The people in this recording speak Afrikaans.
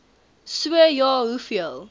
so ja hoeveel